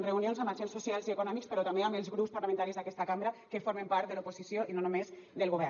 reunions amb agents socials i econòmics però també amb els grups parlamentaris d’aquesta cambra que formen part de l’oposició i no només del govern